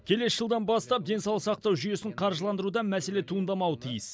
келесі жылдан бастап денсаулық сақтау жүйесін қаржыландыруда мәселе туындамауы тиіс